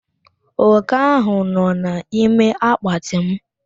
Oke ahụ nọ n'ime akpatị mụ.